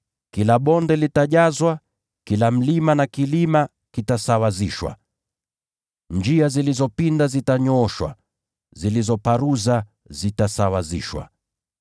Kila bonde litajazwa, kila mlima na kilima vitashushwa. Njia zilizopinda zitanyooshwa, na zilizoparuza zitasawazishwa.